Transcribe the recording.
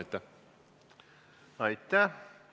Aitäh!